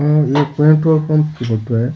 ये एक petrol pump की फोटो है।